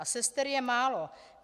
A sester je málo.